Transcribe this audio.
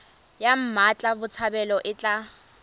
ya mmatla botshabelo e tla